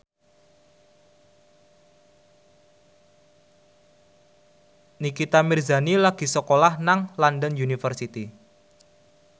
Nikita Mirzani lagi sekolah nang London University